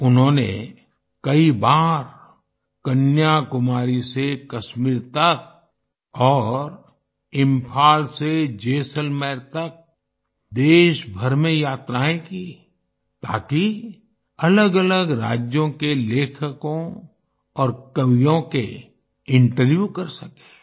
उन्होंने कई बार कन्याकुमारी से कश्मीर तक और इंफाल से जैसलमेर तक देशभर में यात्राएँ की ताकि अलग अलग राज्यों के लेखकों और कवियों के इंटरव्यू कर सकें